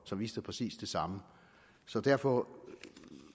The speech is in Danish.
som viste præcis det samme så derfor